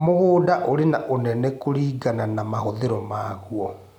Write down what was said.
Mũgũnda ũri na ũnene kũlingana na mahũthĩro maguo